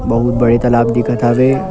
बहुत बड़े तालाब दिखत हवे ।